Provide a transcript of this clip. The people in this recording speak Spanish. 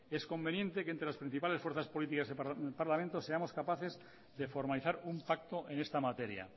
es conveniente que entre las principales fuerzas políticas del parlamento seamos capaces de formalizar un pacto en esta materia